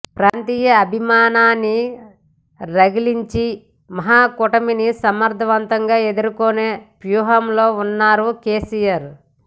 ప్రాంతీయ అభిమానాన్ని రగిలించి మహాకూటమిని సమర్ధవంతంగా ఎదుర్కొనే వ్యూహంలో ఉన్నారు కెసిఆర్